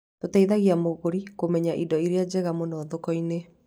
Tũteithagia mũgũri kũmenya indo iria njega mũno thoko-inĩ.